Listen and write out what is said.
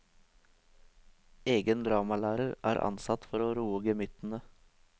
Egen dramalærer er ansatt for å roe gemyttene.